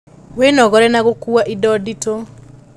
Wĩnogore na gũkua indo nditũ